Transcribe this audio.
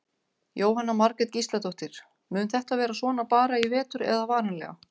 Jóhanna Margrét Gísladóttir: Mun þetta vera svona bara í vetur eða varanlega?